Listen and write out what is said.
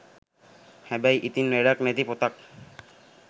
හැබැයි ඉතින් වැඩක් නැති පොතක්